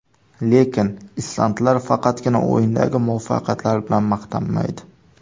Lekin islandlar faqatgina o‘yindagi muvaffaqiyatlari bilan maqtanmaydi.